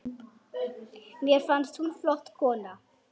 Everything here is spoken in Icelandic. Mér fannst hún flott kona.